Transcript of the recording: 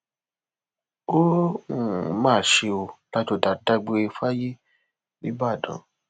ó um mà ṣe ọ ládọjá dágbére fáyé nìbàdàn